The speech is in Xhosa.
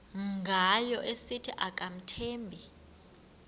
ngayo esithi akamthembi